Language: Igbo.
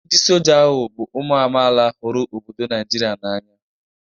Ndị Soja ahụ bụ ụmụ amaala huru obodo Naijiria n'anya.